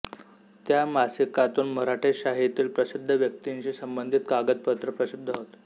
त्या मासिकातून मराठेशाहीतील प्रसिद्ध व्यक्तींशी संबंधित कागदपत्रे प्रसिद्ध होत